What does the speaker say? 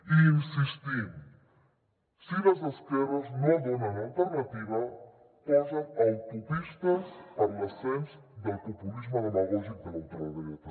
hi insistim si les esquerres no donen alternativa posen autopistes per a l’ascens del populisme demagògic de la ultradreta